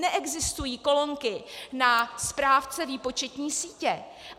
Neexistují kolonky na správce výpočetní sítě.